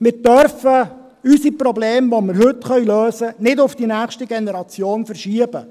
» Wir dürfen unsere Probleme, die wir heute lösen können, nicht auf die nächste Generation verschieben.